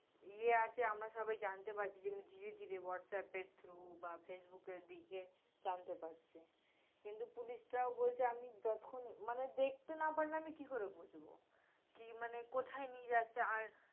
ইয়ে আছে, আমরা সবাই জানতে পারছি, যেমনি ধীরে ধীরে হোয়াটসঅ্যাপের through বা ফেসবুকের দিকে জানতে পারছি, কিন্তু পুলিশটাও বলছে আমি যতক্ষণ, মানে দেখতে না পারলে আমি কি করে বুঝব? কি, মানে, কোথায় নিয়ে যাচ্ছে আর